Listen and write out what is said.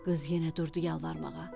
Qız yenə durdu yalvarmağa.